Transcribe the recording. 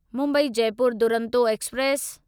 Mumbai Jaipur Duronto express